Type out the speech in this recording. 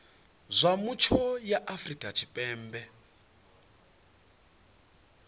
zwa mutsho ya afrika tshipembe